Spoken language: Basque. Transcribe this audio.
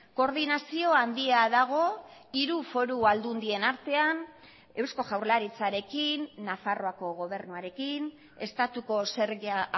koordinazio handia dago hiru foru aldundien artean eusko jaurlaritzarekin nafarroako gobernuarekin estatuko zerga